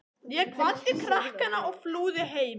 Ég kvaddi krakkana og flúði heim á